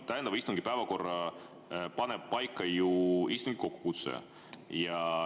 Täiendava istungi päevakorra paneb paika ju istungi kokkukutsuja.